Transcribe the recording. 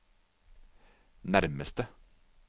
nærmeste